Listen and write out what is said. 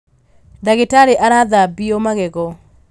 Ndagĩtarĩ arathambio magego